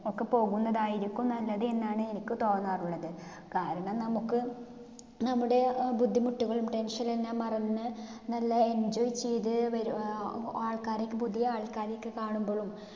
ഒക്കെ പൊക്കുന്നതായിരിക്കും നല്ലത് എന്നാണ് എനിക്ക് തോന്നാറുള്ളത്. കാരണം നമ്മുക്ക് നമ്മുടെ അഹ് ബുദ്ധിമുട്ടുകളും tension എല്ലാം മറന്ന് നല്ല enjoy ചെയ്ത് വരു അഹ് ആൾക്കാരെയൊക്ക പുതിയ ആൾക്കാരെയൊക്ക കാണുമ്പോഴും